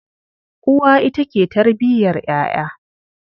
Uwa ita ke tarbiyar ƴaƴa.